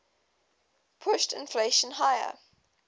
pushed inflation higher